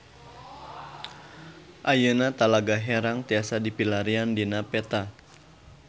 Ayeuna Talaga Herang tiasa dipilarian dina peta